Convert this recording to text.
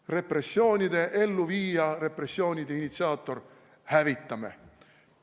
Repressioonide elluviija, repressioonide initsiaator – hävitame!